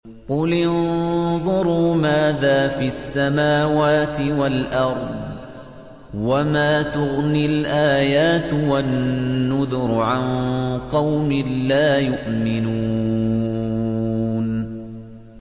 قُلِ انظُرُوا مَاذَا فِي السَّمَاوَاتِ وَالْأَرْضِ ۚ وَمَا تُغْنِي الْآيَاتُ وَالنُّذُرُ عَن قَوْمٍ لَّا يُؤْمِنُونَ